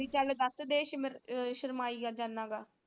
B ਚੱਲ ਦੱਸ ਦੇ ਸ਼ਰਮਾਈ ਜਾਂਦਾ ਗਾ।